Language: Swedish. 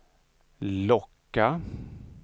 locka